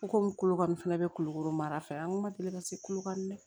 U komi kolo kanni fɛnɛ bɛ kolokolo mara fɛ an ko ma deli ka se kolokani dɛ